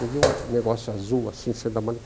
Eu vi um um negócio azul assim, saindo da maleta.